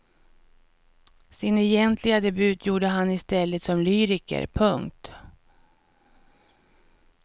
Sin egentliga debut gjorde han i stället som lyriker. punkt